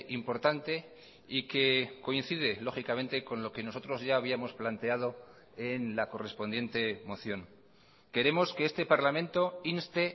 importante y que coincide lógicamente con lo que nosotros ya habíamos planteado en la correspondiente moción queremos que este parlamento inste